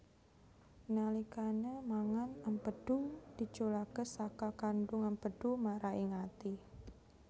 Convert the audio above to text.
Nalikane mangan empedhu diculake saka kandung empedhu mara ing ati